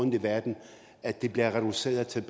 i verden at det bliver reduceret til at